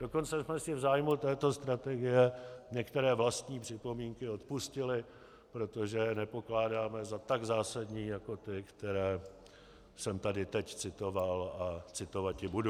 Dokonce jsme si v zájmu této strategie některé vlastní připomínky odpustili, protože je nepokládáme za tak zásadní jako ty, které jsem tady teď citoval a citovati budu.